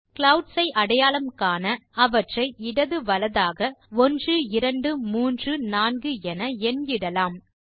clouds ஐ அடையாளம் காண அவற்றை இடது வலதாக 1 2 3 4 என எண் இடலாம்